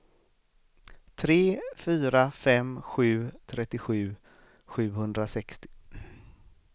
tre fyra fem sju trettiosju sjuhundrasextio